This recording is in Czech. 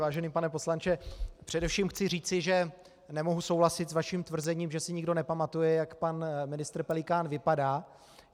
Vážený pane poslanče, především chci říci, že nemohu souhlasit s vaším tvrzením, že si nikdo nepamatuje, jak pan ministr Pelikán vypadá.